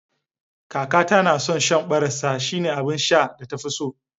Kakata na son shan barassa, shine abin sha da ta fi so